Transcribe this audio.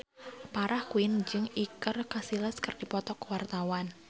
Farah Quinn jeung Iker Casillas keur dipoto ku wartawan